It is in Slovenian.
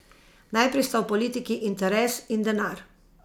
Najprej sta v politiki interes in denar.